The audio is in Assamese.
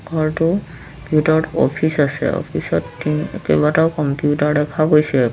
ঘৰটোৰ ভিতৰত অফিচ আছে অফিচ ত কেইবাটাও কম্পিউটাৰ দেখা গৈছে।